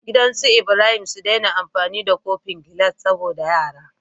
Gidan us Ibrahim su dai na amfani da kofin gilas saboda yara